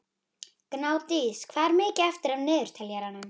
Snjófríður, hvað er í dagatalinu mínu í dag?